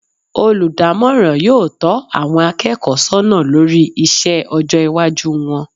Olùdámòràn yóò tó àwon akéèkó sónà lórí isé ojó iwájú won